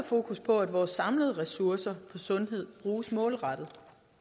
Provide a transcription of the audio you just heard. fokus på at vores samlede ressourcer inden sundhed bruges målrettet